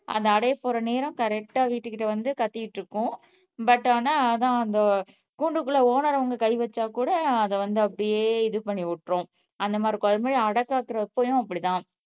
அந்த அடையப்போற நேரம் கரெக்ட்டா வீட்டுகிட்ட வந்து கத்திகிட்டு இருக்கும் பட் ஆனா அதான் கூண்டுக்குள்ள ஓனர் அவங்க கை வச்சா கூட அதை வந்து அப்படியே இது பண்ணி விட்டுரும் அந்தமாதிரி அடைகாக்குறப்பவும் அப்படித் தான்